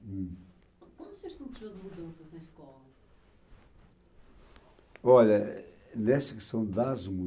quando você as mudanças na escola? Olha, eh, nessa